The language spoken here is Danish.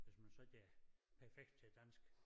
Hvis man så ikke er perfekt til dansk